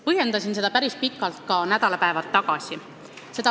Põhjendasin seda päris pikalt ka nädalapäevad tagasi.